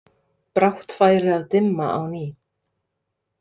Brátt færi að dimma á ný.